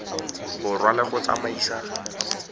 borwa le go di tsamaisa